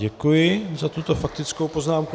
Děkuji za tuto faktickou poznámku.